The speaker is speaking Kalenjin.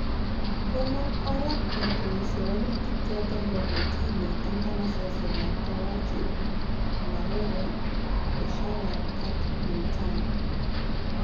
Komang oret biik koesio walutik choton bo kortini en nganasosiek ab Karachi, Lahore, Peshawar ak Multan